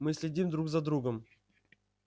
мы следим друг за другом